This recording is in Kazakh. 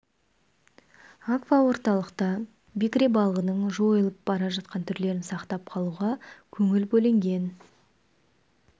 аква орталықта бекіре балығының жойылып бара жатқан түрлерін сақтап қалуға көңіл бөлінген